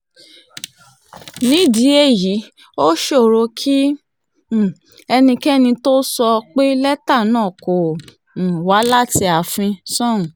nídìí èyí ó ṣòro kí um ẹnikẹ́ni tóo sọ pé lẹ́tà náà kò um wá láti ààfin sóun